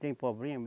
Tem problema?